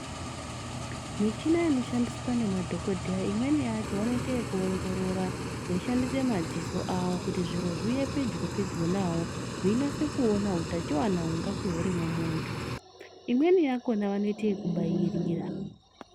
Michina inoshandiswa nemadhokodheya imweni yacho vanoitekuongorora veishandise madziso avo kuti zviro zviuye pedyo pedyo nawo veinase kuona hutachiwana hungange huri mumuntu. Imweni yakona vanoiteku bayirira.